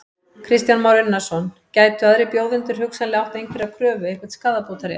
Kristján Már Unnarsson: Gætu aðrir bjóðendur hugsanlega átt einhverja kröfu, einhvern skaðabótarétt?